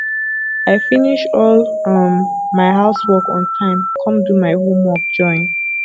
i finish all um my house work on time come do my homework join